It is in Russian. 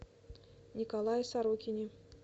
николае сорокине